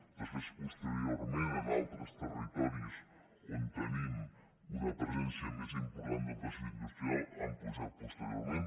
després posteriorment en altres territoris on tenim una presència més important del teixit industrial han pujat posteriorment